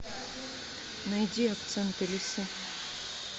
найди акценты лисы